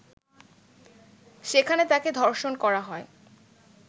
সেখানে তাকে ধর্ষণ করা হয়